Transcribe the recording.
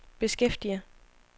beskæftiger